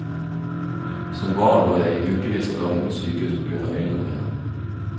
Som barn lå jeg i ukevis av gangen på sykehus på grunn av øynene mine.